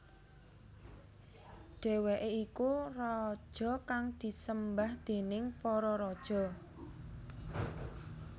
Dheweke iku raja kang disembah déning para raja